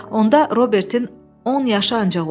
Onda Robertin on yaşı ancaq olardı.